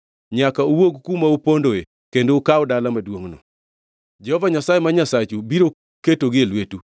nyaka uwuog kuma upondoe kendo ukaw dala maduongʼno. Jehova Nyasaye ma Nyasachu biro ketogi e lwetu.